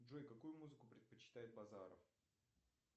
джой какую музыку предпочитает базаров